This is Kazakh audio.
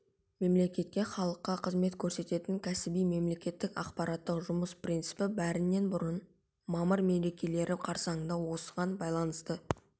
мемлекетке халыққа қызмет көрсететін кәсіби мемлекеттік аппараттың жұмыс принципі бәрінен бұрын мамыр мерекелері қарсаңында осыған байланысты